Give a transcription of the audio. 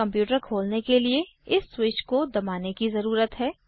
computer खोलने के लिए इस स्विच को दबाने की ज़रुरत है